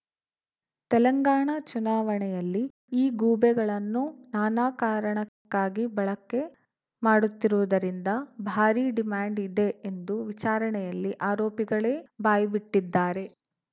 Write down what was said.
ತೆಲಂಗಾಣ ಚುನಾವಣೆಯಲ್ಲಿ ಈ ಗೂಬೆಗಳನ್ನು ನಾನಾ ಕಾರಣಕ್ಕಾಗಿ ಬಳಕೆ ಮಾಡುತ್ತಿರುವುದರಿಂದ ಭಾರೀ ಡಿಮ್ಯಾಂಡ್‌ ಇದೆ ಎಂದು ವಿಚಾರಣೆಯಲ್ಲಿ ಆರೋಪಿಗಳೇ ಬಾಯಿಬಿಟ್ಟಿದ್ದಾರೆ